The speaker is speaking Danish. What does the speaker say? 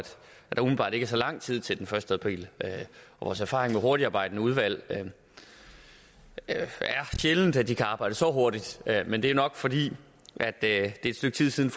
der er så lang tid til den første april vores erfaring med hurtigtarbejdende udvalg er sjældent at de kan arbejde så hurtigt men det er nok fordi det er et stykke tid siden